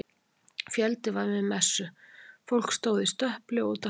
Fjöldi var við messu, fólk stóð í stöpli og úti á hlaði.